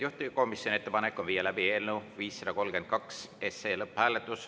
Juhtivkomisjoni ettepanek on viia läbi eelnõu 532 lõpphääletus.